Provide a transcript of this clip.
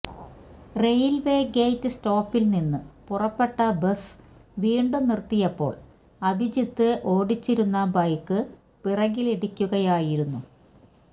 railway gate സ്റ്റോപ്പില്നിന്ന് പുറപ്പെട്ട bus വീണ്ടും നിര്ത്തിയപ്പോള് അഭിജിത്ത് ഓടിച്ചിരുന്ന ബൈക്ക് പിറകിലിടിക്കുകയായിരുന്നു